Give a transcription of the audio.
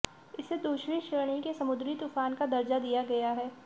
इसे दूसरी श्रेणी के समुद्री तूफ़ान का दर्जा दिया गया है